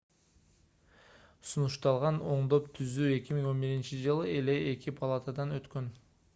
сунушталган оңдоп-түзөө 2011-жылы эле эки палатадан өткөн